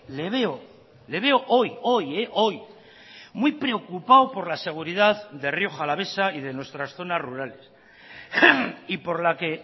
le veo le veo hoy hoy hoy muy preocupado por la seguridad de rioja alavesa y de nuestras zonas rurales y por la que